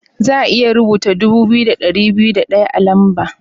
Za'a iya rubuta dubu biyu da dari biyu da daya a'lamba.